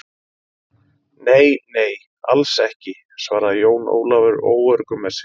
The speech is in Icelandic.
Nei, nei, alls ekki, svaraði Jón Ólafur óöruggur með sig.